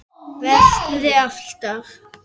Verði alltaf.